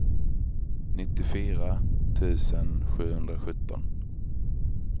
nittiofyra tusen sjuhundrasjutton